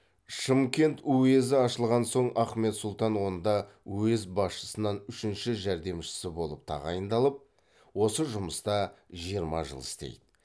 шымкент уезі ашылған соң ахмет сұлтан онда уезд басшысынан үшінші жәрдемшісі болып тағайындалып осы жұмыста жиырма жыл істейді